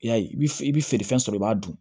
I y'a ye i bɛ i bɛ feerefɛn sɔrɔ i b'a dun